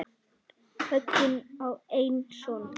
Högni á einn son.